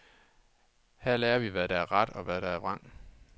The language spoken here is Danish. Her lærer vi, hvad der er ret, og hvad der er vrang.